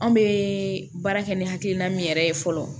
Anw bɛ baara kɛ ni hakilina min yɛrɛ ye fɔlɔ